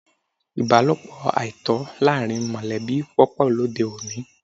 Ìbálòpọ̀ àìtọ́ láàrín mọ̀lẹ́bí wọ́pọ̀ lóde òní.